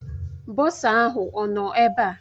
Bọsa ahụ ọ nọ ebe a?